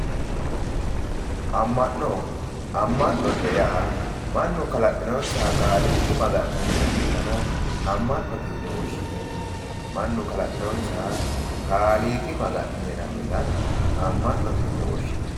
amma'no amma'note yaa mannu kalaqinonsaha kaaliiqa maga'ne hee'ranno gara amma'note yine woshhsineemmo, mannu kalaqinonsaha kaaliiqi maga'ne hee'ranno dana amma'note yine woshshineemmo.